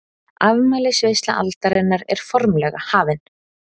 Afmælisveisla aldarinnar er formlega hafin!